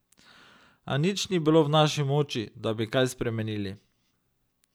A nič ni bilo v naši moči, da bi kaj spremenili.